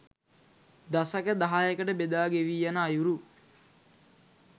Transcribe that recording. දසක දහයකට බෙදා ගෙවී යන අයුරු